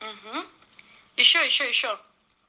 угу ещё ещё ещё